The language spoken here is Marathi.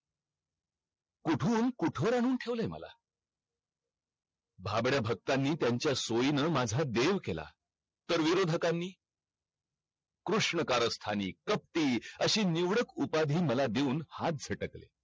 कुठून कुठवर आणून ठेवलाय मला भाबड्या भक्तांनी त्यांचा सोयीनं माझा देव केला तर विरोधकांनी कृष्ण कारस्थानी कपटी अशी नैडूक उपाधी मला देऊन हाथ झटकले